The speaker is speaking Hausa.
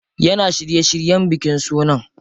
Yana shirye shiryen bikin sunan.